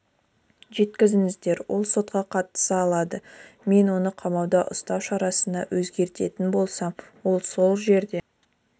жеткізіңіздер ол сотқа қатысы алады мен оны қамауда ұстау шарасына өзгертетін болсам ол сол жерде